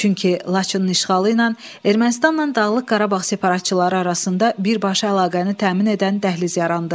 Çünki Laçının işğalı ilə Ermənistanla Dağlıq Qarabağ separatçıları arasında birbaşa əlaqəni təmin edən dəhliz yarandı.